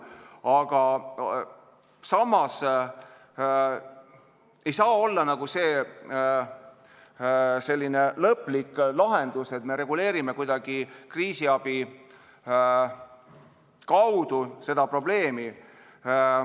Aga samas ei saa see olla selline lõplik lahendus, et me reguleerime kuidagi kriisiabile toetudes seda probleemi.